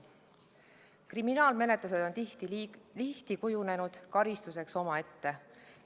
Kriminaalmenetlus on tihti kujunenud karistuseks omaette.